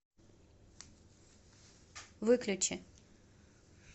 выключи